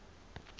sien wel toe